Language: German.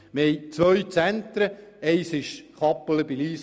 Das andere befindet sich in der Stadt Bern.